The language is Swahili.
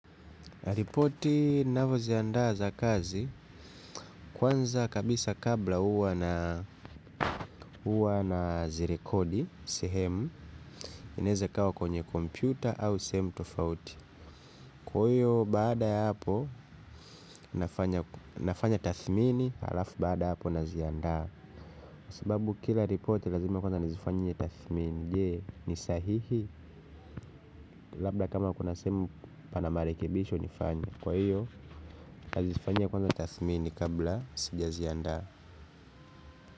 Ripoti navyo jiandaa za kazi kwanza kabisa kabla uwa na zirekodi sehemu inaeza ikawa kwenye kompyuta au sehemu tofauti. Kwa hiyo baada ya hapo nafanya tathmini halafu bada ya hapo na ziandaa. Sababu kila ripoti lazima kwanza nizifanyie tathmini jee ni sahihi labda kama kuna sehemu pana marekebisho nifanye. Kwa hiyo nazifanyia kwanza tathmini kabla sija ziandaa. Kwa hivyo.